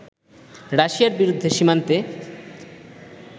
রাশিয়ার বিরুদ্ধে সীমান্তে